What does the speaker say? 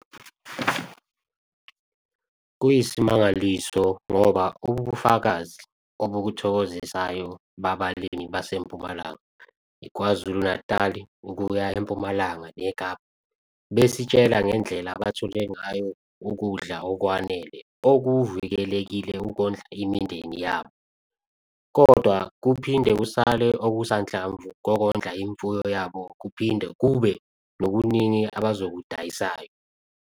Kuyisimangaliso ngoba ububufakazi obuthokozisayo bababalimi baseMpumalanga, KwaZulu-Natal ukuya eMpumalanga neKapa, besitshela ngendlela abathole ngayo ukudla okwanele okuvikelekile ukondla imindeni yabo, kodwa kuphinde kusale okusanhlamvu kokondla imfuyo yabo kuphinde kube nokuningi abazokudayisayo.